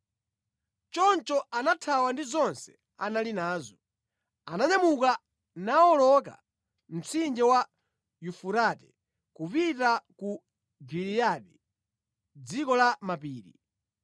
Choncho anathawa ndi zonse anali nazo. Ananyamuka nawoloka mtsinje wa Yufurate kupita cha ku Giliyadi, dziko la mapiri.